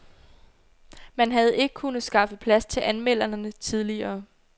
Man havde ikke kunnet skaffe plads til anmelderne tidligere.